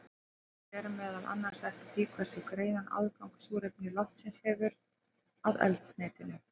Þetta fer meðal annars eftir því hversu greiðan aðgang súrefni loftsins hefur að eldsneytinu.